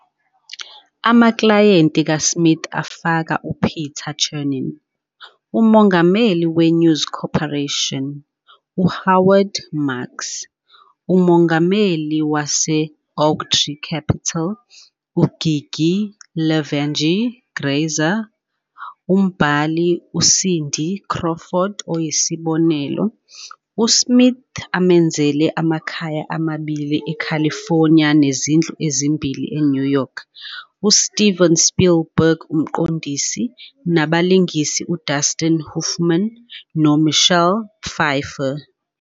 Amaklayenti kaSmith afaka uPeter Chernin, uMongameli weNews Corporation, uHoward Marks, uMongameli wase-Oaktree Capital, uGigi Levangie Grazer, umbhali, uCindy Crawford, oyisibonelo, uSmith amenzele amakhaya amabili eCalifornia nezindlu ezimbili eNew York, uSteven Spielberg, umqondisi, nabalingisi uDustin Hoffman noMichelle Pfeiffer.